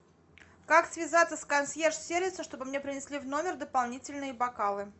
как связаться с консьерж сервисом чтобы мне принесли в номер дополнительные бокалы